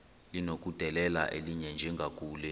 linokudedela elinye njengakule